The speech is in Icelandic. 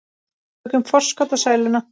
Tökum forskot á sæluna.